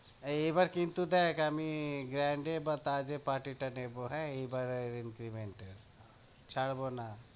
এই এবার কিন্তু দেখ আমি grand এ বা তাজে party টা নেবো হ্যাঁ? এইবারের increment এর ছাড়বো না।